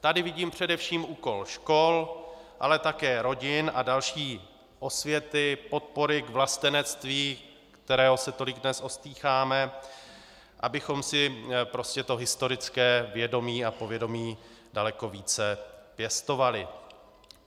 Tady vidím především úkol škol, ale také rodin a další osvěty, podpory k vlastenectví, kterého se tolik dnes ostýcháme, abychom si prostě to historické vědomí a povědomí daleko více pěstovali.